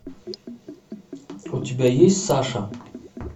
у тебя есть саша